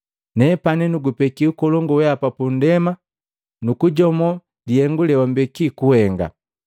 Nepani nugupeki ukolongu wehapa pundema nukujomo lihengu leumbeki kuhenga.